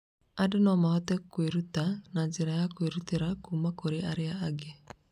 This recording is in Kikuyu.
Andũ no mahote kwĩrutĩra na njĩra ya kwĩruta kuuma kũrĩ arĩa angĩ.